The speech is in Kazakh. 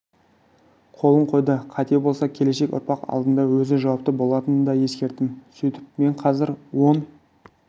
қолын қойды қате болса келешек ұрпақ алдында өзі жауапты болатынын да ескерттім сөйтіп мен қазір он